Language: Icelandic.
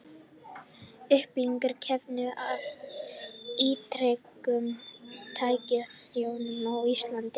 Upplifun kvenna af ítrekuðum tæknifrjóvgunum á Íslandi.